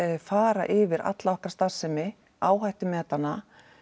fara yfir alla okkar starfsemi áhættumeta hana